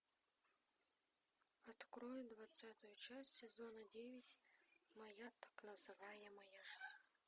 открой двадцатую часть сезона девять моя так называемая жизнь